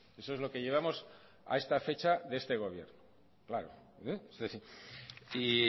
eso es lo que llevamos a esta fecha de este gobierno claro y